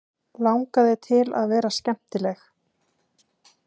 Langaði til að vera skemmtileg.